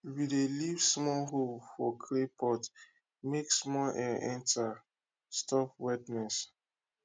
we dey leave small hole for clay pot make small air enter stop wetness